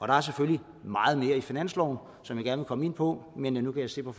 der er selvfølgelig meget mere i finansloven som jeg gerne ville komme ind på men nu kan jeg se på